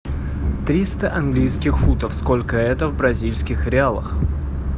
триста английских фунтов сколько это в бразильских реалах